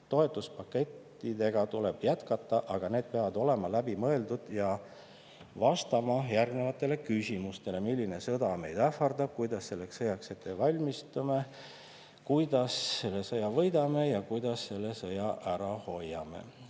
Toetuspakettidega tuleb jätkata, aga need peavad olema läbi mõeldud ja vastama järgnevatele küsimustele: milline sõda meid ähvardab, kuidas selleks sõjaks valmistume, kuidas selle sõja võidame või kuidas selle sõja ära hoiame?